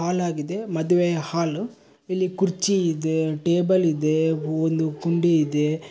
ಹಾಲಾಗಿದೆ ಮದುವೆಯ ಹಾಲು ಇಲ್ಲಿ ಕುರ್ಚಿ ಇದೆ ಟೇಬಲ್ ಇದೆ ಹೋಲು ಗುಂಡಿ ಇದೆ.